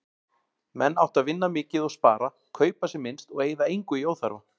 Menn áttu að vinna mikið og spara, kaupa sem minnst og eyða engu í óþarfa.